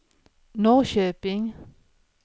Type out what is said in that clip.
Norrköping